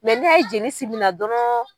n'i y'a ye jeli simi na dɔrɔn